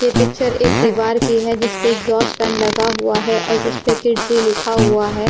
ये पिक्चर एक दीवार की है जिस पे एक्सॉस्ट फैन लगा हुआ है और जिस पर किड्स लिखा हुआ है।